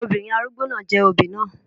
Obìnrin arúgbó náà jẹ òbí náà.